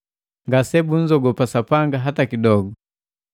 “Ngase bunzogopa Sapanga hata kidogu.”